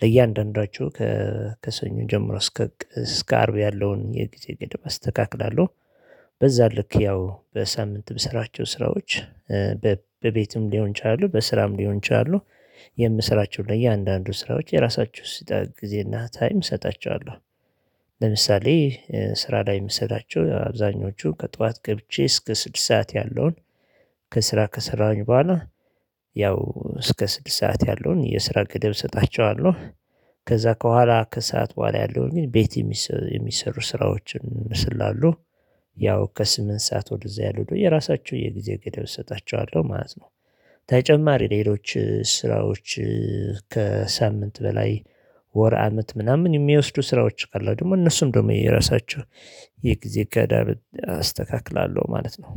ለእያንዳንዷቸው ከሰኞ ጀምሮ እስከ እስከ አርብ ያለውን የጊዜ ግድብ አስተካክላለሁ። በዛ ልክ ያው በሳምንት የምስራቸው ስራዎች። በቤትም ሊሆን ይችላሉ በስራም ሊሆን ይችላሉ። የምስራቸው ለእያንዳንዱ ስራዎች የራሳችሁን ስጠህ ጊዜና ታይም እሰጣቸዋለሁ። ለምሳሌ ስራ ላይ የምሰጣቸው አብዛኞቹ ከጠዋት ገብቼ እስከ ስድስት ሰዓት ያለውን ከስራ ከስራን በኋላ ያው እስከ ስድስት ሰዓት ያለውን የስራ ገደብ እሰጣቸዋለሁ። ከዛ ከኋላ ከሰአት በኋላ ያለውን ግን ቤት የሚሰሩ ስራዎችን ስላሉ ያው ከስምንት ሰዓት ወደዚያ ያሉት ደግሞ የራሳቸው የጊዜ ገደብ እሰጣቸዋለሁ ማለት ነው። ተጨማሪ ሌሎች ስራዎች ከሳምንት በላይ ወር አመት ምናምን የሚወስዱ ስራዎች አሉ ደግሞ እነሱም ደግሞ የራሳቸው የጊዜ ገደብ አስተካክላለሁ ማለት ነው።